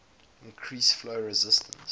increase flow resistance